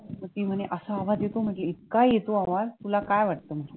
ती म्हणे असा आवाज येतो म्हणजे इतका येतो आवाज तुला काय वाटतं म्हंटलं